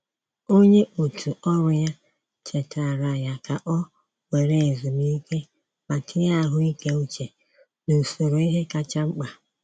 Onye otù ọrụ ya chetaara ya ka ọ were ezumike ma tinye ahụike uche n’usoro ihe kacha mkpa.